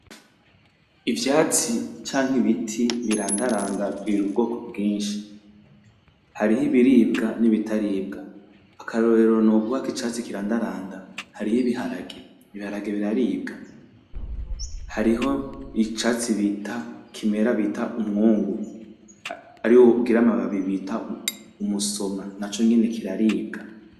Ivyatsi canke biti birandaranda biri ubwoko bwinshi hariho ibiribwa nibitaribwa akarorero noguha kicatsi kirandaranda hariho ibiharage ibiharage biraribwa hariho icatsi bita kimera bita umwungu ariwo ugira amababi bita umusoma naconyene kiraribwa